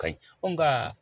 Kayi nka